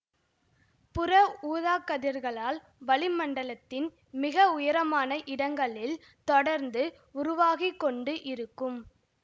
புற ஊதாக்கதிர்களால் வளிமண்டலத்தின் மிக உயரமான இடங்களில் தொடர்ந்து உருவாகிக்கொண்டு இருக்கும்